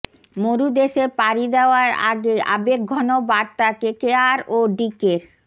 মরুদেশে পারি দেওয়ার আগে আবেগঘন বার্তা কেকেআর ও ডিকের